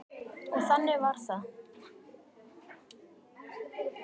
Og þannig varð það.